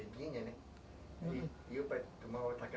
E o pai tomava